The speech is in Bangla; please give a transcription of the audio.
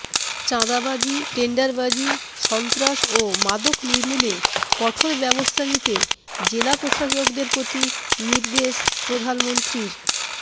চাঁদাবাজি টেন্ডারবাজি সন্ত্রাস ও মাদক নির্মূলে কঠোর ব্যবস্থা নিতে জেলা প্রশাসকদের প্রতি নির্দেশ প্রধানমন্ত্রীর